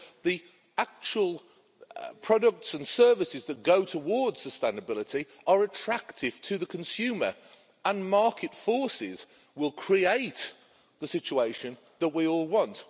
So the actual products and services that go towards sustainability are attractive to the consumer and market forces will create the situation that we all want.